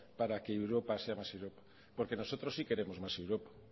para que europa sea más europa porque nosotros sí queremos más europa